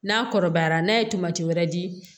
N'a kɔrɔbayara n'a ye tamati wɛrɛ di